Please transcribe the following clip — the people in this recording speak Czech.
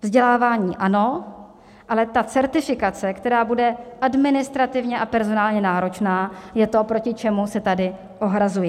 Vzdělávání ano, ale ta certifikace, která bude administrativně a personálně náročná, je to, proti čemu se tady ohrazuji.